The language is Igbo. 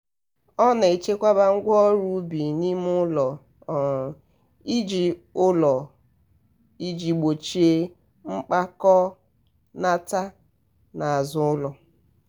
ọ na-echekwaba ngwa ọrụ ubi n'ime ụlọ um iji ụlọ um iji gbochie mgbakọnata n'azụ ụlọ